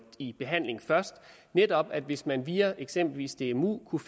i behandling netop var at hvis man via eksempelvis dmu kunne